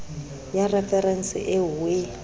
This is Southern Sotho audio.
ya referense eo o e